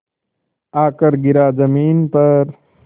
आकर गिरा ज़मीन पर